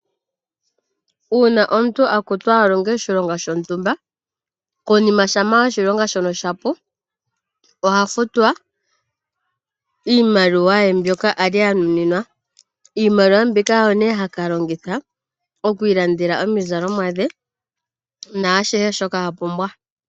Uuna omuntu akutwa alonge oshilonga shontumba, konima shama oshilonga shono shapu, oha futwa iimaliwa ye mbyoka ali anuninwa. Iimaliwa mbika oyo nee haka longitha okwiilandela omizalomwa nashihe shoka apumbwa.